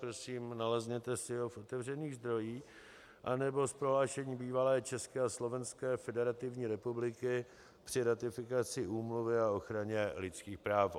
Prosím nalezněte si ho v otevřených zdrojích nebo z prohlášení bývalé České a Slovenské Federativní Republiky při ratifikaci úmluvy o ochraně lidských práv.